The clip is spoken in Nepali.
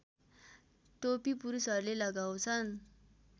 टोपी पुरुषहरूले लगाउँछन्